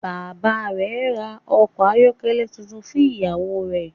Bàbá rè ra ọkọ̀ ayọ́kẹ́lẹ́ tuntun fun ìyá rẹ